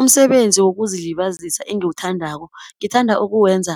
Umsebenzi wokuzilibazisa engiwuthandako ngithanda ukuwenza